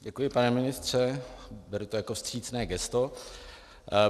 Děkuji, pane ministře, beru to jako vstřícné gesto.